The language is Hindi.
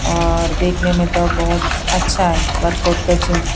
और देखने में तो बहुत अच्छा है वर्कआउट का जिम --